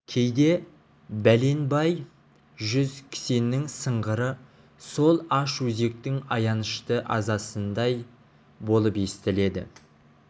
кейде бәленбай жүз кісеннің сыңғыры сол аш өзектің аянышты азасындай болып естіледі